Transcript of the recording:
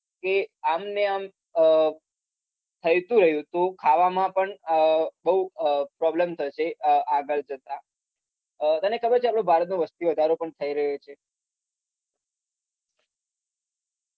કે આમ ને આમ અમ થઈતું રહ્યું તો ખાવામાં પણ અમ બોઉં અમ problem થશે અમ આગળ જતાં અમ તને ખબર છે આપડો ભારતનો વસ્તીવધારો પણ થઇ રહ્યો છે